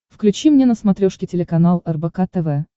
включи мне на смотрешке телеканал рбк тв